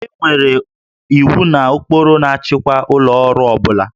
E nwere iwu na ụkpụrụ na-achịkwa ụlọ ọrụ ọ bụla